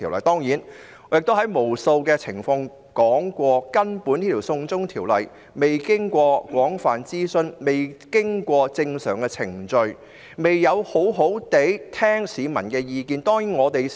當然，我已無數次提及，根本這項"送中"法案仍未經廣泛諮詢及正常程序，亦沒有好好聆聽市民的意見。